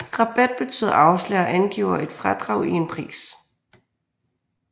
Rabat betyder afslag og angiver et fradrag i en pris